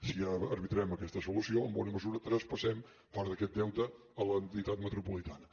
si arbitrem aquesta solució en bona mesura traspassem part d’aquest deute a l’entitat metropolitana